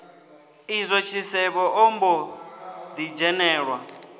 izwo tshisevhe ombo ḓi dzhenelwa